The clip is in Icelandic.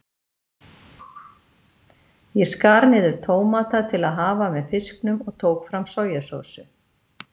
Ég skar niður tómata til að hafa með fisknum og tók fram sojasósu.